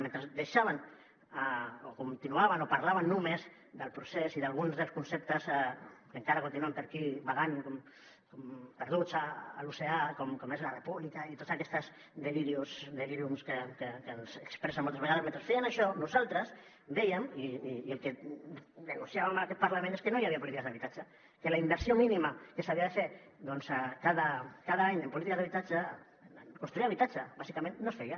mentre deixaven o continuaven o parlaven només del procés i d’alguns dels conceptes que encara continuen per aquí vagant com perduts a l’oceà com és la república i tots aquests delíriums que ens expressen moltes vegades mentre feien això nosaltres vèiem i el que denunciàvem en aquest parlament és que no hi havia polítiques d’habitatge que la inversió mínima que s’havia de fer doncs cada any en polítiques d’habitatge en construir habitatge bàsicament no es feia